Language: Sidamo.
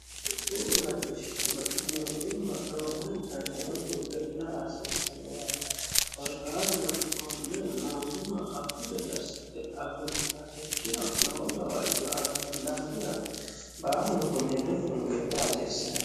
fulatishshano mootimma roorenkani hedotu ge'la aasiissanninaati horqaatuno konne mootumma afu gede assite agurta ikkiro lowo gawaajjoaanno dhaafira baalunkun hedotun ge'la aasiissane